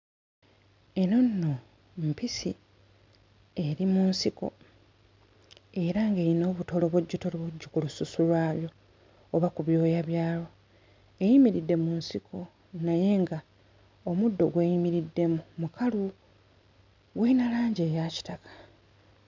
Eno nno mpisi, eri mu nsiko era ng'eyina obutolobojjotolobojjo ku lususu lwayo oba ku byoya byayo. Eyimiridde mu nsiko naye ng'omuddo gw'eyimiriddemu mukalu, gulina langi eya kitaka.